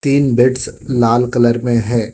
तीन बेड्स लाल कलर मे है।